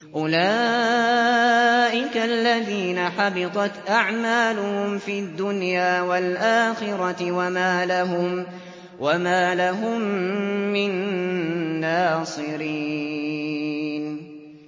أُولَٰئِكَ الَّذِينَ حَبِطَتْ أَعْمَالُهُمْ فِي الدُّنْيَا وَالْآخِرَةِ وَمَا لَهُم مِّن نَّاصِرِينَ